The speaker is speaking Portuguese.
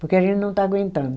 Porque a gente não está aguentando.